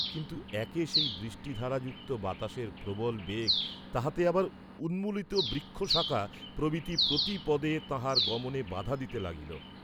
কিন্তু একে সেই বৃষ্টিধারাযুক্ত বাতাসের প্রবল বেগ তাহাতে আবার উন্মূলিত বৃক্ষশাখা প্রভৃতি প্রতিপদে তাঁহার গমনে বাধা দিতে লাগিল।